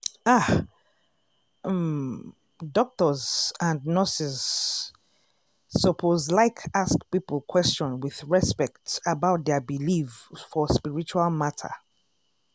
ah! um doctors and nurses lsuppose like ask people question with respect about dia believe for spiritual matter.